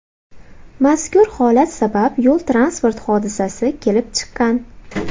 Mazkur holat sabab yo‘l transport hodisasi kelib chiqqan.